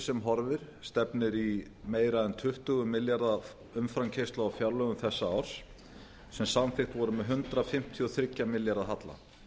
sem horfir stefnir í meira en tuttugu milljarða af umframkeyrslu á fjárlögum þessa árs sem samþykkt voru með hundrað fimmtíu og þrjá milljarða halla